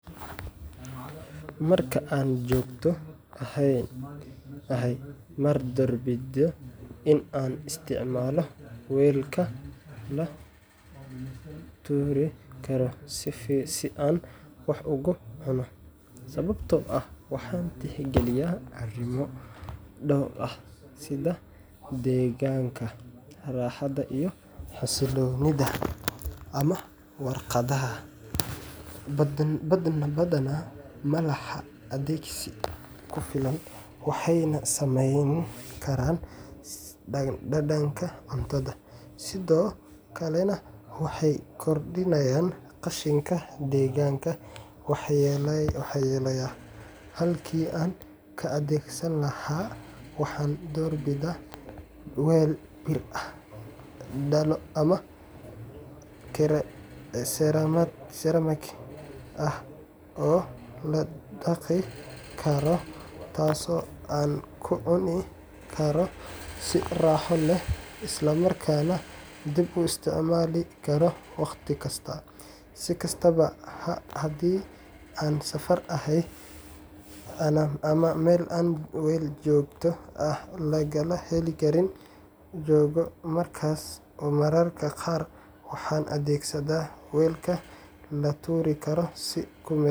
Marka aan joogto ahay, ma doorbido in aan isticmaalo weelka la tuuri karo si aan wax ugu cuno, sababtoo ah waxaan tixgeliyaa arrimo dhowr ah sida deegaanka, raaxada iyo xasiloonida. Weelka la tuuri karo sida balaastiigga ama warqadda badanaa ma laha adkeysi ku filan, waxayna saameyn karaan dhadhanka cuntada, sidoo kalena waxay kordhiyaan qashinka deegaanka waxyeelleeya. Halkii aan ka adeegsan lahaa, waxaan doorbidaa weel bir ah, dhalo ama ceramic ah oo la dhaqi karo, taasoo aan ku cuni karo si raaxo leh isla markaana dib u isticmaali karo waqti kasta. Si kastaba, haddii aan safar ahay ama meel aan weel joogto ah laga heli karin joogo, markaas mararka qaar waxaan adeegsadaa weelka la tuuri karo si ku-meel